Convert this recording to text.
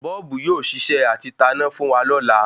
Bọ́ọ́bù yóò ṣiṣẹ́ atí taná fún wa lọ́la